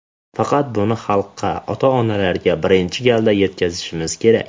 Faqat buni xalqqa, ota-onalarga birinchi galda yetkazishimiz kerak.